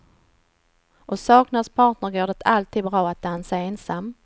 Och saknas partner går det alltid bra att dansa ensam.